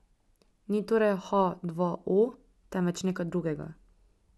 Ni torej ha dva o, temveč nekaj drugega.